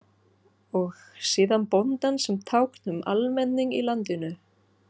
Og síðan bóndann sem tákn um almenning í landinu.